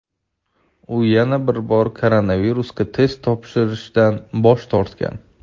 u yana bir bor koronavirusga test topshirishdan bosh tortgan.